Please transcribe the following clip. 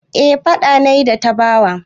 Eh faɗa na yi da Tabawa.